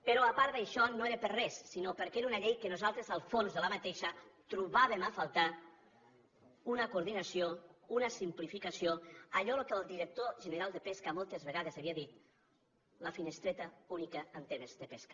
però a part d’això no era per res sinó perquè era una llei que nosaltres en el fons trobaven a faltar una coordinació una simplificació allò que el director general de pesca moltes vegades havia dit la finestreta única en temes de pesca